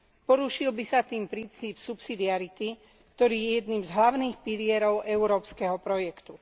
Porušil by sa tým princíp subsidiarity, ktorý je jedným z hlavných pilierov európskeho projektu.